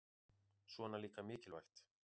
Svona líka mikilvægt